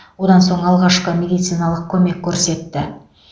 одан соң алғашқы медициналық көмек көрсетті